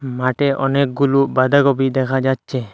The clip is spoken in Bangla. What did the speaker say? মাটে অনেকগুলু বাধাকপি দেখা যাচ্ছে।